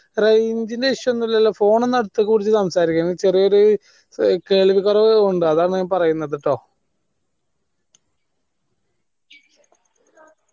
range ന് issue ഒന്നുല്ലല്ലോ phone ഒന്ന് അടുത്തേക്ക് പിടിച്ച് സംസാരിക്കാണെ ചേരിയായൊരു കേൾവി കുറവുണ്ട് അതാ ഞാൻ പറയുന്നത് ട്ടോ